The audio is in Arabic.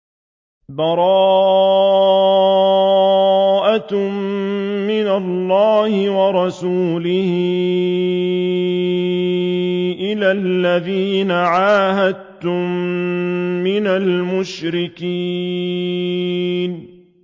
بَرَاءَةٌ مِّنَ اللَّهِ وَرَسُولِهِ إِلَى الَّذِينَ عَاهَدتُّم مِّنَ الْمُشْرِكِينَ